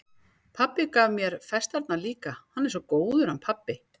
Pabbi gaf mér festarnar líka, hann er svo góður, hann pabbi.